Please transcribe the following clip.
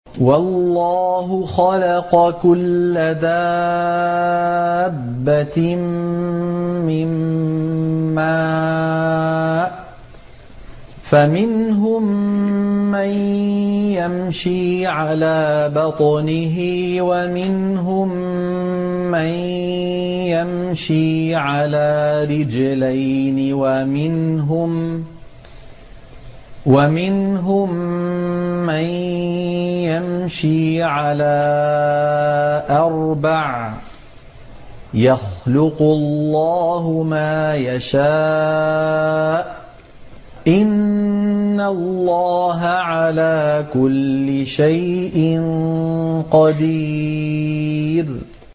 وَاللَّهُ خَلَقَ كُلَّ دَابَّةٍ مِّن مَّاءٍ ۖ فَمِنْهُم مَّن يَمْشِي عَلَىٰ بَطْنِهِ وَمِنْهُم مَّن يَمْشِي عَلَىٰ رِجْلَيْنِ وَمِنْهُم مَّن يَمْشِي عَلَىٰ أَرْبَعٍ ۚ يَخْلُقُ اللَّهُ مَا يَشَاءُ ۚ إِنَّ اللَّهَ عَلَىٰ كُلِّ شَيْءٍ قَدِيرٌ